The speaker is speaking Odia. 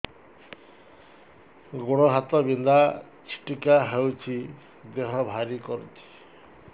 ଗୁଡ଼ ହାତ ବିନ୍ଧା ଛିଟିକା ହଉଚି ଦେହ ଭାରି କରୁଚି